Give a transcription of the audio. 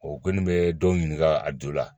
kɔni bɛ dɔw ɲininka a jo la